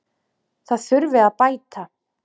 Það þurfi að bæta.